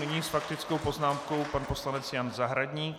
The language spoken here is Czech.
Nyní s faktickou poznámkou pan poslanec Jan Zahradník.